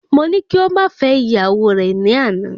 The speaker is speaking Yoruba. Mo ní kí o ma fẹ ìyàwó re ni àná